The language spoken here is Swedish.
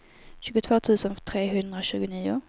tjugotvå tusen trehundratjugonio